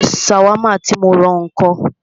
Ṣàwámà tí mó rán ọ ńkọ́?